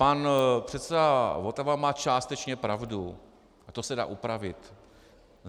Pan předseda Votava má částečně pravdu a to se dá upravit.